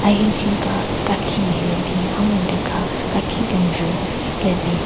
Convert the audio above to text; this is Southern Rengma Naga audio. Ahenshen ka kakhin nme le bin a mhyudyu ka kakhin kenjvu le bin.